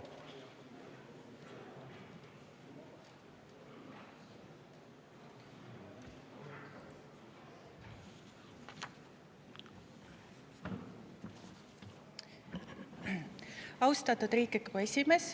Austatud Riigikogu esimees!